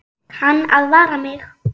Kann að vara mig.